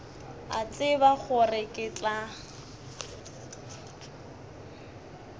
a tseba gore ke tla